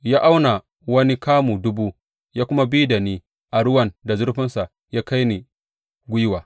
Ya auna wani kamu dubu ya kuma bi da ni a ruwan da zurfinsa ya kai ni gwiwa.